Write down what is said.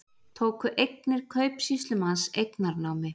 Tóku eignir kaupsýslumanns eignarnámi